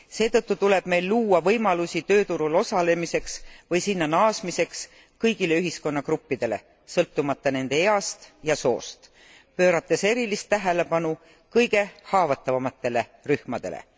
Seetõttu tuleb meil luua võimalusi tööturul osalemiseks või sinna naasmiseks kõigile ühiskonna gruppidele sõltumata nende east ja soost, pöörates erilist tähelepanu kõige haavatavamatele rühmadele.